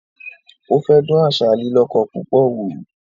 Ó fẹ́ dán àṣà “lílíkọ púpọ̀” wò